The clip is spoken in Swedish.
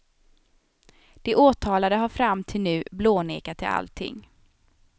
De åtalade har fram till nu blånekat till allting.